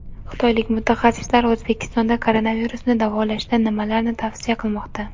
Xitoylik mutaxassislar O‘zbekistonda koronavirusni davolashda nimalarni tavsiya qilmoqda?.